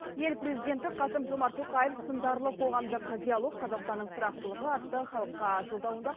ел президенті қасым жомарт тоқаев сындарлы қоғамдық диалог қазақстанның тұрақтылығы атты халыққа жолдауында